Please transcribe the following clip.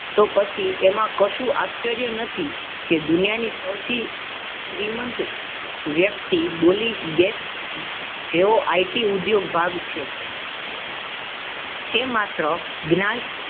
તો પછી એમાં કશું આશ્ચર્ય નથી કે દુનિયાની સૌથી શ્રીમંત વ્યક્તિ બોલિગેસ જેવો IT ઉદ્યોગ ભાગ છે તે માત્ર જ્ઞાન